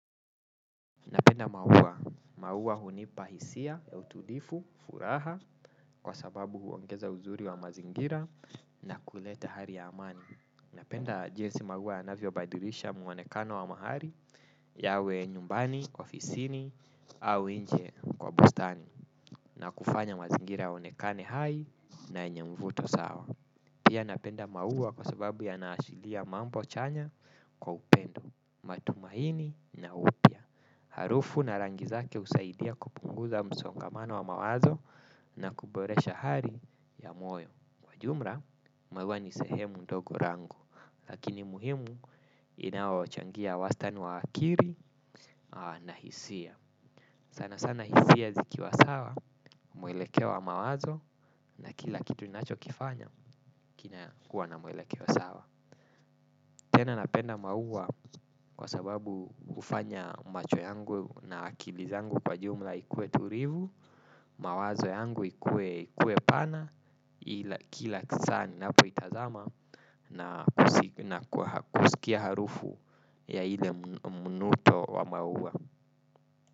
Napenda maua, maua hunipa hisia ya utulivu furaha kwa sababu huongeza uzuri wa mazingira na kuleta hali ya amani. Napenda jinsi maua yanavyo badilisha muonekano wa mahali yawe nyumbani, ofisini au nje kwa bustani na kufanya mazingira ya onekane hai na yenye mvuto sawa. Pia napenda maua kwa sababu yanaashiria mambo chanya kwa upendo matumaini na upya. Harufu na rangi zake husaidia kupunguza msongamano wa mawazo na kuboresha hali ya moyo. Kwa jumla maua ni sehemu ndogo yangu lakini muhimu inaochangia wastani wa akili na hisia. Sana sana hisia zikiwa sawa mwelekeo wa mawazo na kila kitu ninacho kifanya kina kuwa na mwelekeo sawa. Tena napenda maua kwa sababu hufanya macho yangu na akili zangu kwa jumla ikue tulivu, mawazo yangu ikue pana ila kila saa ninapo itazama na na kwa kusikia harufu ya ile mvuto wa maua.